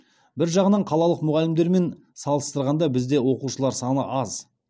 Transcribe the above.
бір жағынан қалалық мұғалімдермен салыстырғанда бізде оқушылар саны аз